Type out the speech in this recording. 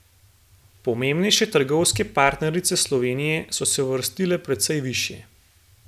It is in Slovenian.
Pomembnejše trgovske partnerice Slovenije so se uvrstile precej višje.